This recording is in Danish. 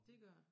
Dét gør det